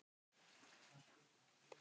Hverjir skyldu það vera?